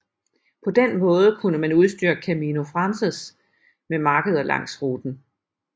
På den måde kunne man udstyre Camino Francés med markeder langs ruten